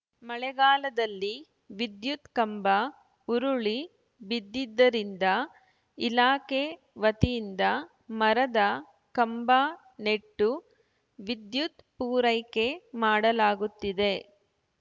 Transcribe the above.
ಮಳೆಗಾಲದಲ್ಲಿ ವಿದ್ಯುತ್‌ ಕಂಬ ಉರುಳಿ ಬಿದ್ದಿದ್ದರಿಂದ ಇಲಾಖೆ ವತಿಯಿಂದ ಮರದ ಕಂಬ ನೆಟ್ಟು ವಿದ್ಯುತ್‌ ಪೂರೈಕೆ ಮಾಡಲಾಗುತ್ತಿದೆ